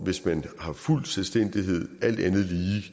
hvis man har fuld selvstændighed